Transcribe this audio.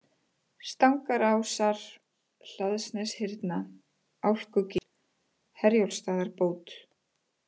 Stangarásar, Hlaðsneshyrna, Álkugil, Herjólfsstaðabót